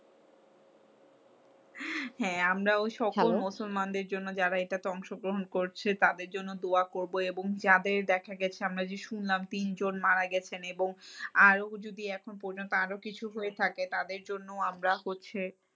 হ্যাঁ আমরাও সকল মুসলমানদের জন্য যারা এইটা তে অংশগ্রহণ করছে তাদের জন্য দোয়া করবো। এবং যাদের দেখা গেছে আমরা যে শুনলাম যে তিনজন মারা গেছেন। এবং আরও যদি এখন পর্যন্ত আরও কিছু হয়ে থাকে তাদের জন্য আমরা হচ্ছে